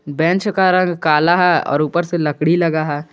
Bench का रंग काला है और ऊपर से लकड़ी लगा है।